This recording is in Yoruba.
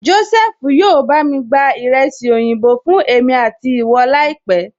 Jósẹ́fù yóò bá mi gba ìrẹsì oyinbo fún èmi àti ìwọ láìpẹ́